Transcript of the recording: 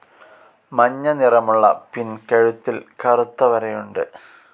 മഞ്ഞ നിറമുള്ള പിൻ കഴുത്തിൽ കറുത്ത വരയുണ്ട്.